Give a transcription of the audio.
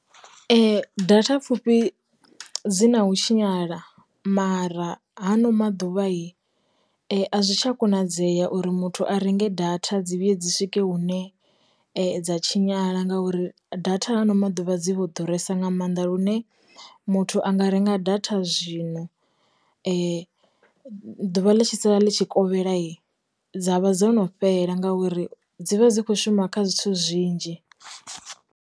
Data pfufhi dzi na hu tshinyala mara hano maḓuvha hi, a zwi tsha konadzea uri muthu a renge data dzi vhuyedze swike hune dza tshinyala ngauri datha hano maḓuvha maḓuvha dzi kho ḓuresa nga maanḓa lune muthu a nga renga data zwino ḓuvha ḽi tshi sala ḽi tshi kovhela dza vha dzo no fhela ngauri dzi vha dzi khou shuma kha zwithu zwinzhi.